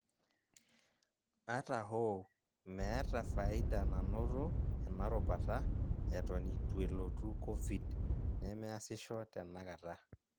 Ata hoo, meeta faida nanoto ena rubata eton ituelotu Covid, nemeasisho tenakata.